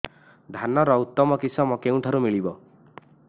ଧାନର ଉତ୍ତମ କିଶମ କେଉଁଠାରୁ ମିଳିବ